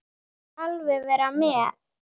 Þú mátt alveg vera með.